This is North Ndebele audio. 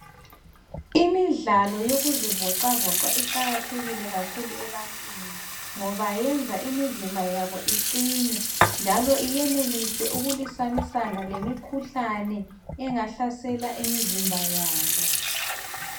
Imidlalo yokuzivoxavoxa iqakathekile kakhulu ebantwini ngoba yenza imizimba yabo iqine njalo yenelise ukulwisanisana lemikhuhlane engahlasela imizimba yabo.